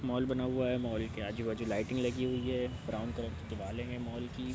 Mall बना हुआ है मॉल के आजू बाजू लाइटिंग लगी हुई है ब्राउन कलर की दिवाले हैं मॉल की।